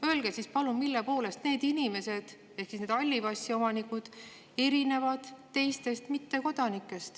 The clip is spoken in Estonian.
Öelge palun, mille poolest need inimesed ehk siis halli passi omanikud erinevad teistest mittekodanikest.